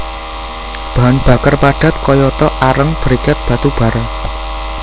Bahan bakar padat kayata areng briket batu bara